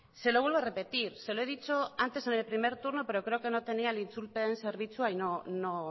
se lo vuelvo a repetir se lo he dicho antes en el primer turno pero creo que no tenía el itzulpen zerbitzua y no